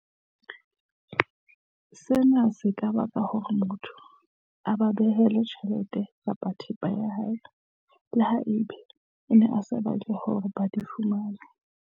Sena se ka baka hore batho ba abelwe tjhelete kapa thepa ya hao, leha ebe o ne o sa batle hore ba di fumane.